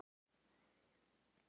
Þetta var Eiríkur Jónsson.